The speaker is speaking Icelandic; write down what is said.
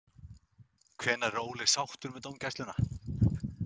Hvenær er Óli sáttur með dómgæsluna?